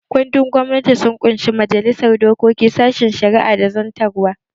Kundin gwamnati sun ƙunshi majalisar dokoki, sashen shari'a da zartarwa